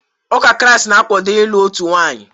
Ụka Kraịst na-akwado ịlụ otu nwaanyị.